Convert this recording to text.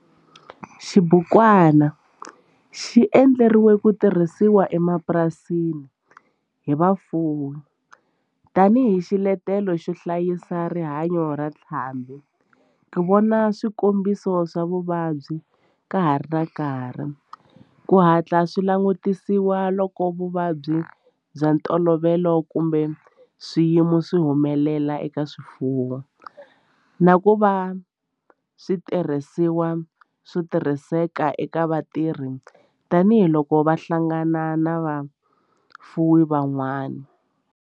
Xibukwana xi endliwe ku tirhisiwa emapurasini hi vafuwi tani hi xiletelo xo hlayisa rihanyo ra ntlhambhi, ku vona swikombiso swa vuvabyi ka ha ri na nkarhi ku hatla swi langutisiwa loko vuvabyi bya ntolovelo kumbe swiyimo swi humelela eka swifuwo, na ku va xitirhisiwa xo tirhiseka eka vatirhi tani hi loko va hlangana na vafuwi van'wana.